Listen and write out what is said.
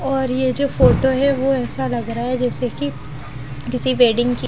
और ये जो फोटो है वो ऐसा लग रहा है जैसे कि किसी वेडिंग की --